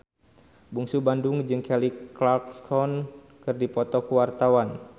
Bungsu Bandung jeung Kelly Clarkson keur dipoto ku wartawan